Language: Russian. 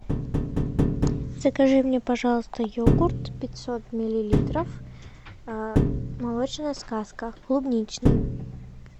закажи мне пожалуйста йогурт пятьсот миллилитров молочная сказка клубничный